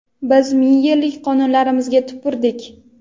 biz ming yillik qonunlarimizga tupurdik.